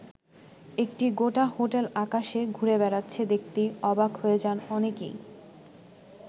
একটি গোটা হোটেল আকাশে ঘুরে বেড়াচ্ছে দেখতেই অবাক হয়ে যান অনেকেই।